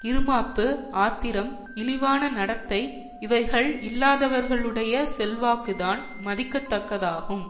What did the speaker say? இறுமாப்பு ஆத்திரம் இழிவான நடத்தை இவைகள் இல்லாதவர்களுடைய செல்வாக்குதான் மதிக்க தக்கதாகும்